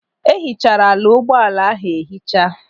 E hichara ala ụgbọala ahụ ehicha.